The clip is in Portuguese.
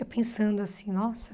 Eu pensando assim, nossa.